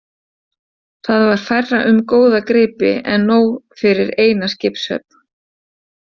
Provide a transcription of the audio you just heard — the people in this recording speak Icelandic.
Þar var færra um góða gripi en nóg fyrir eina skipshöfn.